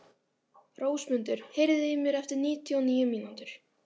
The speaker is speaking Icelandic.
Rósmundur, heyrðu í mér eftir níutíu og níu mínútur.